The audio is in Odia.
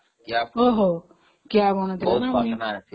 କିଆବଣ ଥିଲା